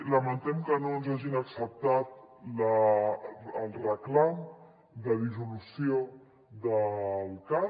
lamentem que no ens hagin acceptat el reclam de dissolució del cat